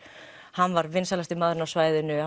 hann var vinsælasti maðurinn á svæðinu